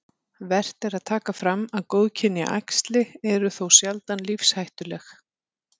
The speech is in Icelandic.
Vert er að taka fram að góðkynja æxli eru þó sjaldan lífshættuleg.